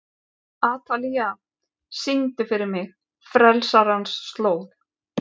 Atalía, syngdu fyrir mig „Frelsarans slóð“.